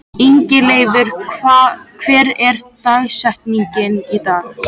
Ingileifur, hver er dagsetningin í dag?